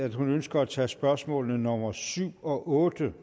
at hun ønsker at tage spørgsmål nummer syv og otte